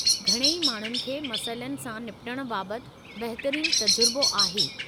घणई माण्हुनि खे मसइलनि सां निबटणु बाबतु बहितरीन तजुर्बो आहे।